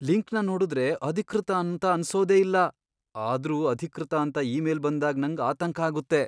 ಲಿಂಕ್ನ ನೋಡುದ್ರೆ ಅಧಿಕೃತ ಅಂತ ಅನ್ಸೋದೇ ಇಲ್ಲ ಆದ್ರೂ ಅಧಿಕೃತ ಅಂತ ಇಮೇಲ್ ಬಂದಾಗ್ ನಂಗ್ ಆತಂಕ ಆಗುತ್ತೆ.